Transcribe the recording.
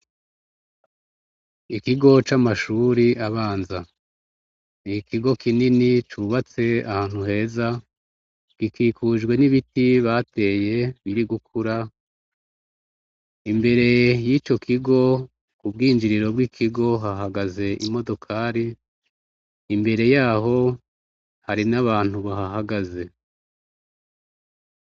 Ikigo c'amashuri abanza, ni ikigo kinini cubatse ahantu heza, gikikijwe n'ibiti bateye biri gukura, imbere yico kigo, mu bwinjiriro bwi kigo hahagaze imodokari, imbere yaho hari n'abantu babahagaze.